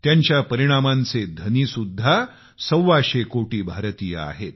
त्यांच्या परिणामांचे मालकसुद्धा सव्वाशे कोटी भारतीय आहेत